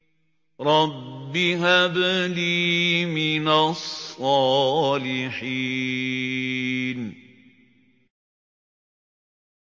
رَبِّ هَبْ لِي مِنَ الصَّالِحِينَ